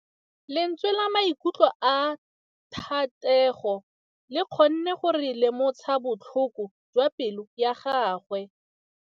Lentswe la maikutlo a Thategô le kgonne gore re lemosa botlhoko jwa pelô ya gagwe.